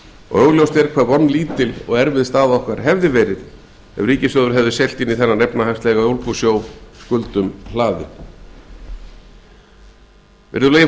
og augljóst er hve vonlítil og erfið staða okkar hefði verið ef ríkissjóður hefði siglt inn í þennan efnahagslega ólgusjó skuldum hlaðinn hæstvirtur